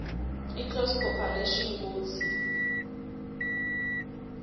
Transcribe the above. iclose corporation kutsi